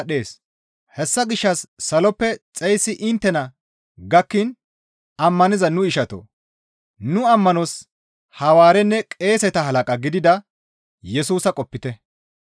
Hessa gishshas saloppe xeyssi inttena gakkiin ammaniza nu ishatoo! Nu ammanos Hawaarenne qeeseta halaqa gidida Yesusa qopite.